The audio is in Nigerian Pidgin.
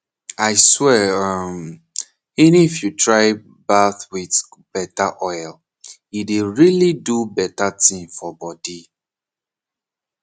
aswear um henif you try bath with better oil e dey really do better thing for body